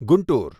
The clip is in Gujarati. ગુંટુર